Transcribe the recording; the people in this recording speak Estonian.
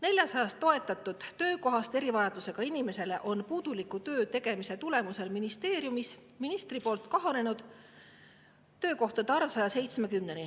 Erivajadustega inimestele 400 toetatud töökohta on ministeeriumis ministri puuduliku töötegemise tõttu kahanenud 170‑ni.